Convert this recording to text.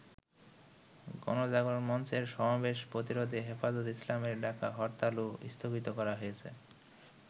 গণজাগরণ মঞ্চের সমাবেশ প্রতিরোধে হেফাজত ইসলামের ডাকা হরতালও স্থগিত করা হয়েছে।